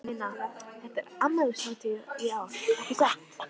Una, þetta er afmælishátíð í ár, ekki satt?